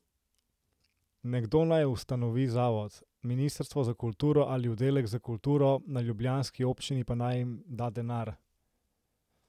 Nekdo naj ustanovi zavod, ministrstvo za kulturo ali oddelek za kulturo na ljubljanski občini pa naj jim da denar.